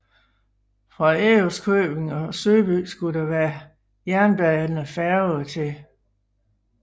Fra Ærøskøbing og Søby skulle der være jernbanefærge til hhv